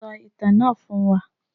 Sọ ìtàn náà fún wa.